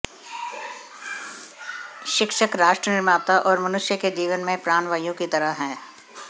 शिक्षक राष्ट्रनिर्माता और मनुष्य के जीवन में प्राणवायु की तरह है